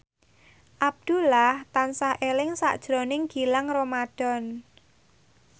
Abdullah tansah eling sakjroning Gilang Ramadan